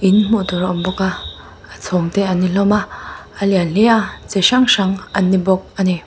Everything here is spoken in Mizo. in hmuh tur a awm bawk a a chhawng te an ni hlawm a a lian hle a chi hrang hrang an ni bawk ani.